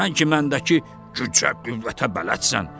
sən ki məndəki gücə, qüvvətə bələdsən.